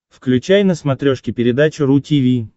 включай на смотрешке передачу ру ти ви